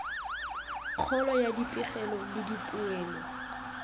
kgolo ya dipegelo le dipoelo